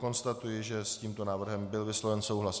Konstatuji, že s tímto návrhem byl vysloven souhlas.